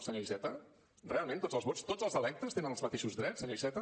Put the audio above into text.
senyor iceta realment tots els vots tots els electes tenen els mateixos drets senyor iceta